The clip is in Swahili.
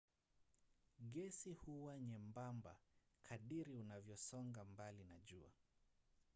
gesi huwa nyembamba kadiri unavyosonga mbali na jua